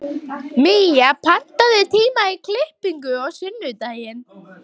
Mía, pantaðu tíma í klippingu á sunnudaginn.